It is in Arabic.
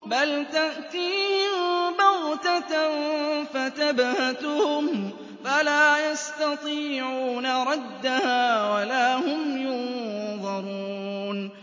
بَلْ تَأْتِيهِم بَغْتَةً فَتَبْهَتُهُمْ فَلَا يَسْتَطِيعُونَ رَدَّهَا وَلَا هُمْ يُنظَرُونَ